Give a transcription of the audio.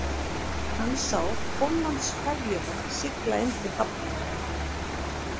Hann sá Póllandsferjuna sigla inn til hafnar